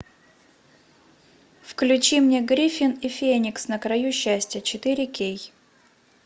включи мне гриффин и феникс на краю счастья четыре кей